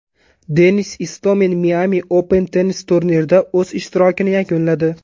Denis Istomin Miami Open tennis turnirida o‘z ishtirokini yakunladi.